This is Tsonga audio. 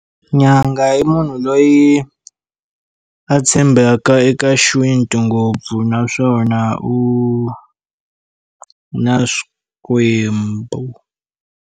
Nyanga i munhu loyi a tshembaka eka xintu ngopfu naswona u na swikwembu.